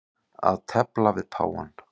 Að tefla við páfann